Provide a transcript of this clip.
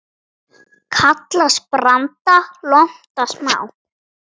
Kallast branda lonta smá.